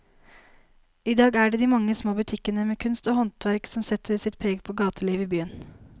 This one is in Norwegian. I dag er det de mange små butikkene med kunst og håndverk som setter sitt preg på gatelivet i byen.